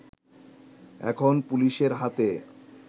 এখন পুলিশের হাতে